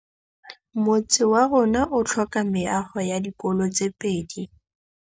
Motse warona o tlhoka meago ya dikolô tse pedi.